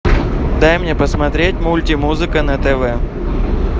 дай мне посмотреть мультимузыка на тв